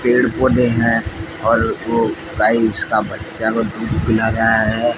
पेड़ पौधे हैं और वो गाय उसका बच्चा को दूध पिला रहा है।